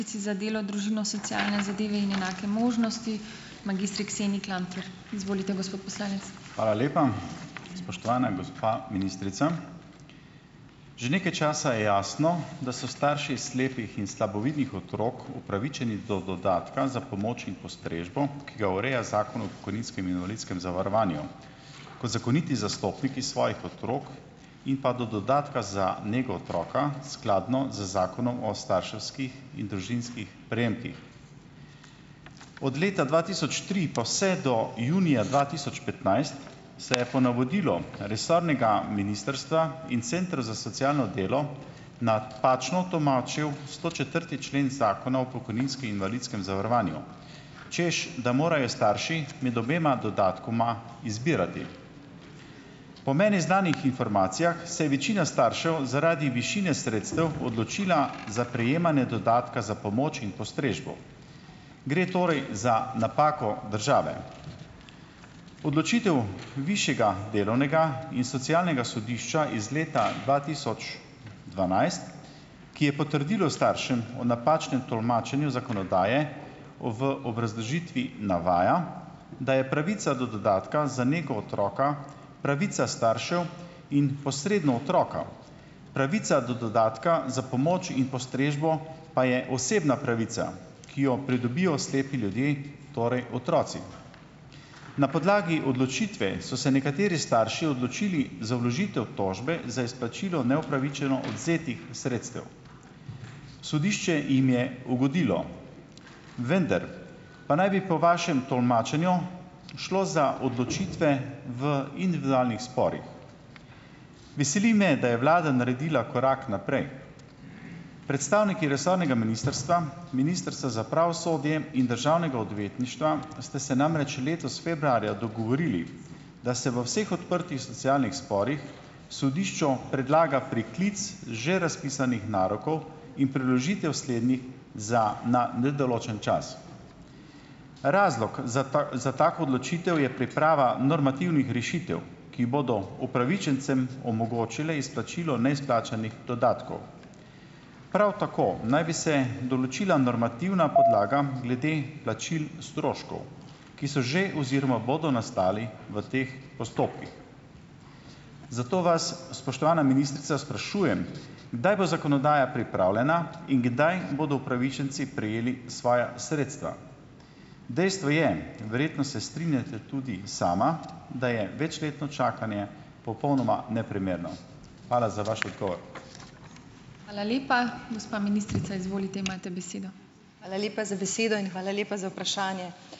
Hvala lepa. Spoštovana gospa ministrica, že nekaj časa je jasno, da so starši slepih in slabovidnih otrok upravičeni do dodatka za pomoč in postrežbo, ki ga ureja Zakon o pokojninskem in invalidskem zavarovanju. Kot zakoniti zastopniki svojih otrok in pa do dodatka za nego otroka, skladno z Zakonom o starševskih in družinskih prejemkih. Od leta dva tisoč tri pa vse do junija dva tisoč petnajst, se je po navodilu resornega ministrstva in centra za socialno delo napačno tolmačil stočetrti člen Zakona o pokojninskem in invalidskem zavarovanju - češ da morajo starši med obema dodatkoma izbirati. Po meni znanih informacijah se je večina staršev zaradi višine sredstev odločila za prejemanje dodatka za pomoč in postrežbo. Gre torej za napako države. Odločitev višjega delovnega in socialnega sodišča iz leta dva tisoč dvanajst, ki je potrdilo staršem o napačnem tolmačenju zakonodaje, v obrazložitvi navaja, da je pravica do dodatka za nego otroka pravica staršev in posredno otroka. Pravica do dodatka za pomoč in postrežbo pa je osebna pravica, ki jo pridobijo slepi ljudje, torej otroci. Na podlagi odločitve so se nekateri starši odločili za vložitev tožbe za izplačilo neupravičeno odvzetih sredstev. Sodišče jim je ugodilo, vendar pa naj bi po vašem tolmačenju šlo za odločitve v individualnih sporih. Veseli me, da je vlada naredila korak naprej. Predstavniki resornega ministrstva, Ministrstva za pravosodje in Državnega odvetništva, ste se namreč letos februarja dogovorili, da se v vseh odprtih socialnih sporih, sodišču predlaga priklic že razpisanih narokov in preložitev slednjih za na nedoločen čas. Razlog za za tako odločitev je priprava normativnih rešitev, ki bodo upravičencem omogočile izplačilo neizplačanih dodatkov, prav tako naj bi se določila normativna podlaga glede plačil stroškov, ki so že oziroma bodo nastali v teh postopkih. Zato vas, spoštovana ministrica, sprašujem, kdaj bo zakonodaja pripravljena in kdaj bodo upravičenci prejeli svoja sredstva. Dejstvo je - verjetno se strinjate tudi sama, da je večletno čakanje popolnoma neprimerno. Hvala za vaš odgovor.